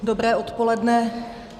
Dobré odpoledne.